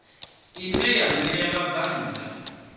ine ya ṋea vhabvann ḓa